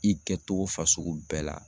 I kɛtogo fasugu bɛɛ la.